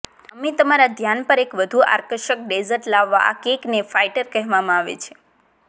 અમે તમારા ધ્યાન પર એક વધુ આકર્ષક ડેઝર્ટ લાવવા આ કેકને ફાઇટર કહેવામાં આવે છે